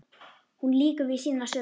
Hún lýkur við sínar sögur.